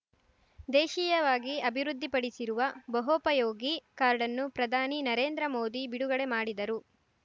ದೇಶೀಯವಾಗಿ ಅಭಿವೃದ್ಧಿಪಡಿಸಿರುವ ಬಹೋಪಯೋಗಿ ಕಾರ್ಡ್‌ನ್ನು ಪ್ರಧಾನಿ ನರೇಂದ್ರ ಮೋದಿ ಬಿಡುಗಡೆ ಮಾಡಿದರು